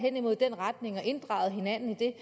i retning af har inddraget hinanden i det